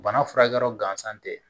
Bana furakɛyɔrɔ gansan tɛ